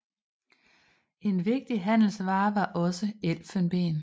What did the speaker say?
En vigtig handelsvare var også elfenben